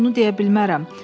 Mən bunu deyə bilmərəm.